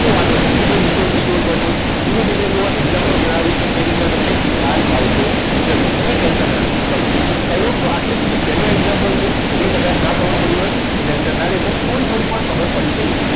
ok તો વાંધો નહીં. બીજો ત્રીજો ચોથો ધીમે ધીમે જોવા example ગણાવીશ એ રીતના તમને ખ્યાલ આવતો જશે okay ટેન્શન ના લેશો ચલો આટલે સુધી પહેલો example છે ઓકે કદાચ ના ખબર પડી હોય તો ટેન્શન ના લેશો થોડી થોડી પણ ખબર પડી ગઈ